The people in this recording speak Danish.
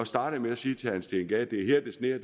startede med at sige til herre steen gade det er her det sner